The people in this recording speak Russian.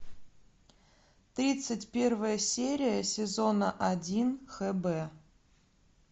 тридцать первая серия сезона один хб